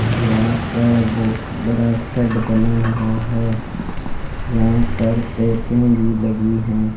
यहां पर बहुत बड़ा शेड बना हुआ है यहां पर पेपे भी लगी हैं।